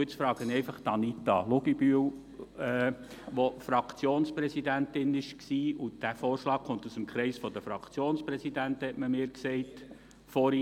Nun frage ich einfach Anita Luginbühl, die Fraktionspräsidentin gewesen ist, denn dieser Vorschlag kommt aus dem Kreis der Fraktionspräsidenten, wie man mir vorhin gesagt hat.